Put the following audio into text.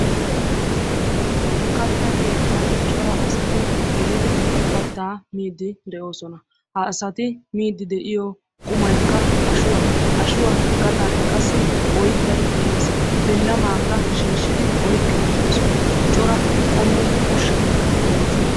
Katta keettaan cora asati gelidi kattaa miid De'oosona ha asati miide de'iyo qumaykka ashuwa bilamakka oyqqi uttidosona cora qommo ushshaykka de'oosona.